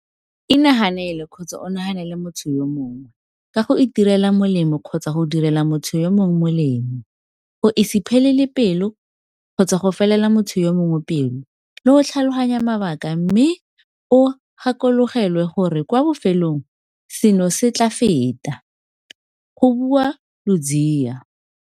"Inaganele kgotsa o naganele motho yo mongwe ka go itirela molemo kgotsa go direla motho yo mongwe molemo, go se iphelele pelo kgotsa go se felele motho yo mongwe pelo le go tlhaloganya mabaka mme o gakologelwe gore kwa bofelong seno se tla feta," go bua Ludziya.